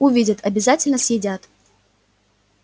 увидят обязательно съедят